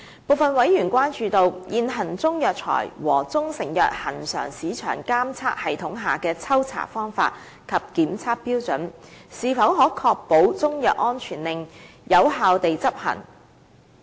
部分委員關注，現行中藥材和中成藥恆常市場監測系統下的抽查方法和檢測標準，是否可確保中藥安全令有效地執行。